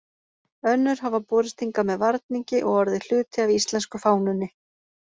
Önnur hafa borist hingað með varningi og orðið hluti af íslensku fánunni.